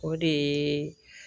O de ye